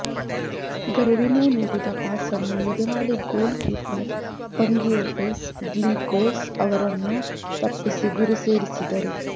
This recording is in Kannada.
ಗರ್ವಿನೊ ನೀಡಿದ ಪಾಸ್ಅನ್ನು ಎದುರಾಳಿ ಗೋಲ್ ಕೀಪರ್ ಪಂಗಿಯೊಟಿಸ್ ಗ್ಲಿಕೊಸ್ ಅವರನ್ನು ತಪ್ಪಿಸಿ ಗುರಿ ಸೇರಿಸಿದರು